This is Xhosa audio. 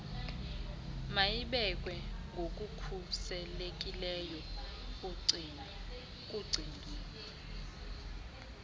mayibekwe ngokukhuselekileyo kugcino